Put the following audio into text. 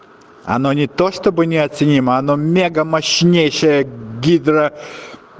оно не то чтобы неоценимо оно мегамощнейшая гидра